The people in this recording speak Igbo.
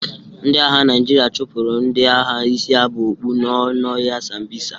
Ndị agha Naịjirịa chụpụrụ ndị agha isiabokpu nọ n'ọhịa sambisa.